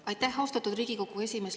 Aitäh, austatud Riigikogu esimees!